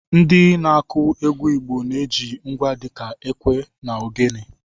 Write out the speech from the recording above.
Ndị na-akụ egwu Igbo na-eji ngwa dịka ekwe na ogene.